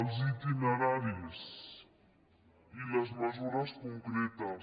els itineraris i les mesures concretes